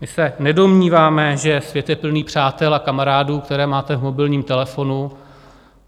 My se nedomníváme, že svět je plný přátel a kamarádů, které máte v mobilním telefonu.